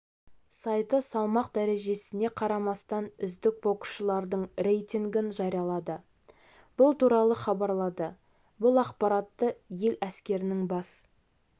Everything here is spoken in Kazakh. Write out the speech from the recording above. сайты салмақ дәрежесіне қарамастан үздік боксшылардың рейтингін жариялады бұл туралы хабарлады бұл ақпаратты ел әскерінің бас